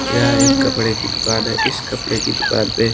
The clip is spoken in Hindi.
यहां एक कपड़े की दुकान है इस कपड़े की दुकान पे --